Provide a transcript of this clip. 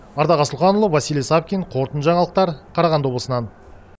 ардақ асылханұлы василий савкин қорытынды жаңалықтар қарағандыдан